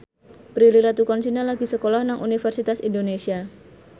Prilly Latuconsina lagi sekolah nang Universitas Indonesia